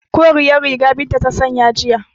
Koriyar riga Binta ta sanya jiya